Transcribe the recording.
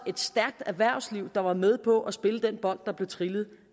af et stærkt erhvervsliv der var med på at spille den bold der blev trillet